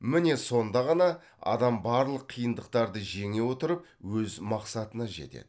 міне сонда ғана адам барлық қиындықтарды жеңе отырып өз мақсатына жетеді